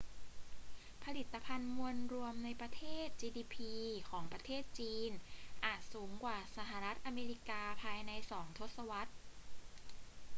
ผลิตภัณฑ์มวลรวมในประเทศ gdp ของประเทศจีนอาจสูงกว่าสหรัฐอเมริกาภายในสองทศวรรษ